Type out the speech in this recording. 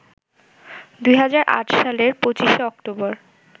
২০০৮ সালের ২৫ অক্টোবর